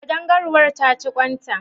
Ƙadangaruwar ta ci ƙwan ta?